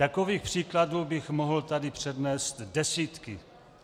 Takových příkladů bych tady mohl přednést desítky.